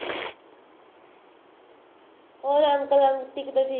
ਹੋਰ uncle aunty ਕਿਦਾਂ ਠੀਕ ਨੇ